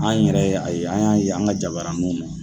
An yɛrɛ ye a ye an y'a ye an ka jabaraninw na.